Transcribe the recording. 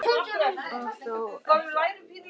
Og þó ekki alveg.